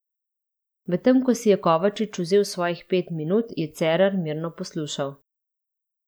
Medtem ko si je Kovačič vzel svojih pet minut, je Cerar mirno poslušal.